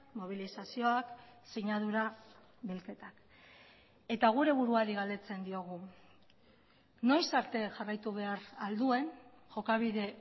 mobilizazioak sinadura bilketak eta gure buruari galdetzen diogu noiz arte jarraitu behar al duen jokabide